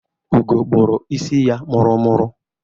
Ugo kpụrụ isi ya mụrụ-mụrụ.